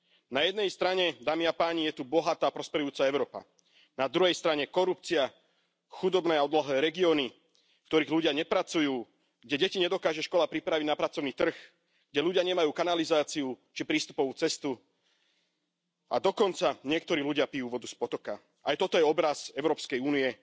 Na jednej strane, dámi a páni, je tu bohatá, prosperujúca Európa, na druhej strane korupcia, chudobné a úbohé regióny, v ktorých ľudia nepracujú, kde deti nedokáže škola pripraviť na pracovný trh, kde ľudia nemajú kanalizáciu, či prístupovú cestu, a dokonca niektorí ľudia pijú vodu z potoka. Aj toto je obraz Európskej únie